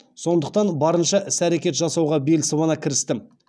сондықтан барынша іс әрекет жасауға бел сыбана кірістім